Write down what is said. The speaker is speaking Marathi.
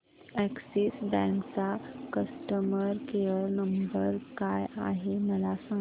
अॅक्सिस बँक चा कस्टमर केयर नंबर काय आहे मला सांगा